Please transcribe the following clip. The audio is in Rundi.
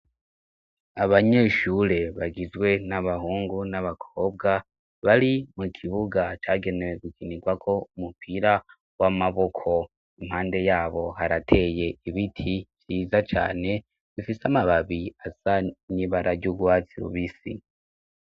Abanyeshure bagizwe n'abahungu n'abakobwa, bari mu kibuga cagenewe gukinirwako umupira w'amaboko, impande yabo harateye ibiti vyiza cane bifise amababi asa n'ibara ry'urwatsi rubisi.